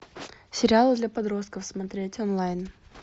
сериал для подростков смотреть онлайн